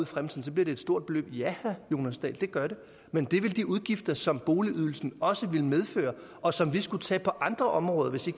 fremtiden bliver det et stort beløb ja det gør det men det ville de udgifter som boligydelsen også ville medføre og som vi skulle tage på andre områder hvis vi